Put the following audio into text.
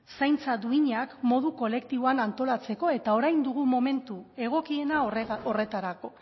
zaintza duinak modu kolektiboan antolatzeko eta orain dugu momentu egokiena horretarako